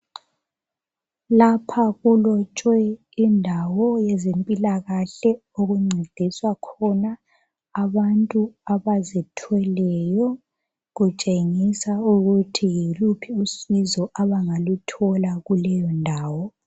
Lapha kulotshwe indawo yezempilakahle okuncediswa khona abantu abazithweleyo. Kutshengisa ukuthi yiluphi usizo abangaluthola kuleyo ndawo.